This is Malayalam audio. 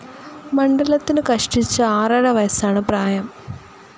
മണ്ഡലത്തിനു കഷ്ടിച്ച് ആറര വയസ്സാണ് പ്രായം.